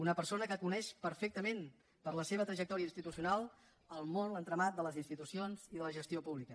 una persona que coneix perfectament per la seva trajectòria institucional el món l’entramat de les institucions i de la gestió pública